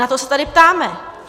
Na to se tady ptáme.